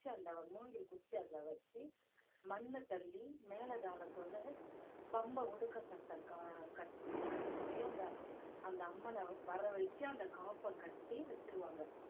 அந்த மூங்கில் குச்சியை அதுல வச்சு மண்ணத் தள்ளி மேல தாளத்தோட பம்பை உடுக்கை சத்தம் க~ கட்டின~ அடிச்சி அந்த அந்த அம்மனை வரவழைச்சு அந்த காப்ப கட்டி வச்சிருவாங்க